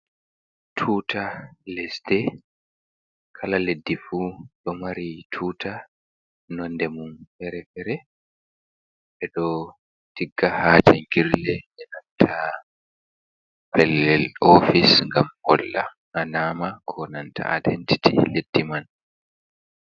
Tuta lesdi kala leddi fu ɗo mari tuta nonde mun fere-fere. Ɓeɗo tigga ha jangirle enananta pellel ofis ngam holla alama ko nanta identiti leddi man.